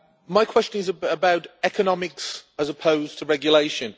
My question is about economics, as opposed to regulation.